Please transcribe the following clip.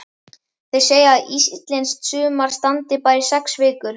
Þeir segja að íslenskt sumar standi bara í sex vikur.